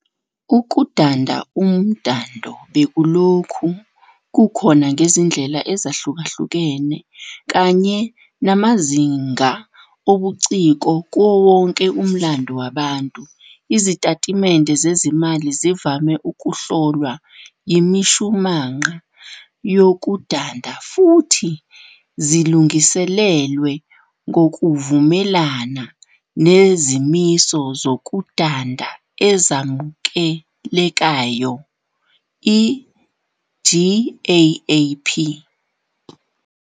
Ukudanda - umdando bekulokhu kukhona ngezindlela ezahlukahlukene kanye namazinga obuciko kuwo wonke umlando wabantu. Izitatimende zezezimali zivame ukuhlolwa yimishumanqa yokudanda, futhi zilungiselelwe ngokuvumelana nezimiso zokudanda ezamukelekayoGAAP.